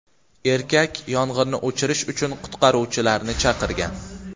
Erkak yong‘inni o‘chirish uchun qutqaruvchilarni chaqirgan.